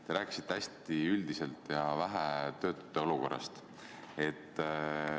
Te rääkisite hästi üldiselt ja üsna vähe töötute olukorrast.